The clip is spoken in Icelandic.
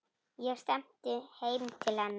Ég stefni heim til hennar.